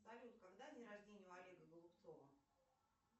салют когда день рождение у олега голубцова